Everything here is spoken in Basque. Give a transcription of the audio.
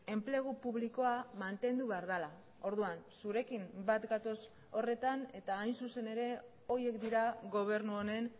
enplegu publikoa mantendu behar dela orduan zurekin bat gatoz horretan eta hain zuzen ere horiek dira gobernu honen